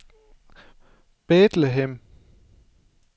Bethlehem